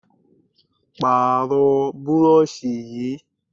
Pààrọ̀ burọ̀ṣì yìí!